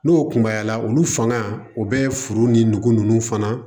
N'o kunbayala olu fanga o bɛ foro ni nugu ninnu fana